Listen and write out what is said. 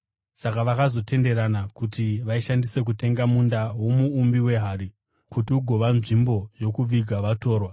Saka vakazotenderana kuti vaishandise kutenga munda womuumbi wehari kuti ugova nzvimbo yokuviga vatorwa.